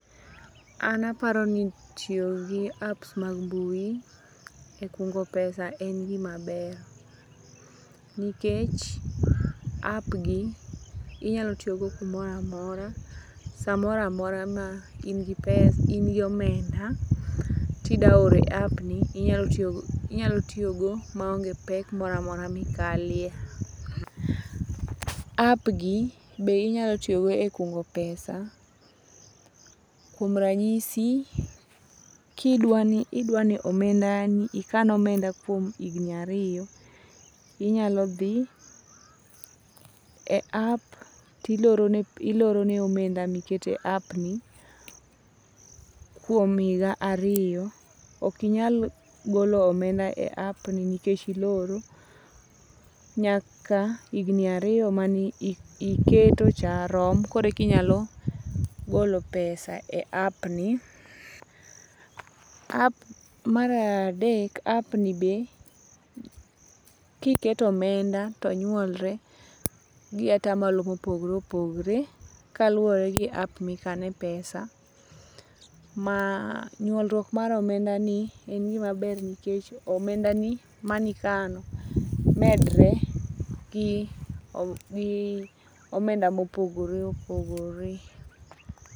An aparo ni tiyo gi apps mag mbui e kungo pesa en gima ber. Nikech app gi inyalotiyogo kumoramora, samoramora ma in gi omenda tida ore app ni inyalo tiyogo maonge pek moramora mikalie. App gi be inyalo tiyogo e kungo pesa, kuom ranyisi, kidwani idwani omenda ni ikan omenda kuom higni ariyo, inyalo dhi e app tiloro ne omenda mikete app ni kuom higa ariyo. Ok inyal golo omenda e app ni nikech iloro nyaka higni ariyo mani iketocha rom koreka inyalo golo pesa e app ni. Maradek, app ni be kiketo omenda to nywolre gi atamalo mopogre opogre kaluwore gi app mikane pesa. Ma nywolruok mar omenda ni en gima ber nikech omendani manikano medre gi omenda mopogore opogore.